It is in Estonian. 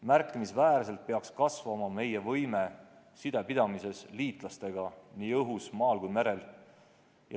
Märkimisväärselt peaks kasvama liitlastega side pidamise võime nii õhus, maal kui ka merel.